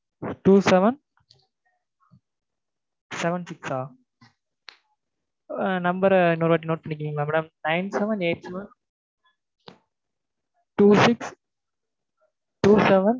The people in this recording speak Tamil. two seven seven six ஆ? ஆஹ் number அ இன்னொரு முறை note பண்ணிக்கிறீங்களா madam nine seven eight seven two six two seven